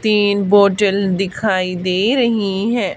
तीन बॉटल दिखाई दे रही है।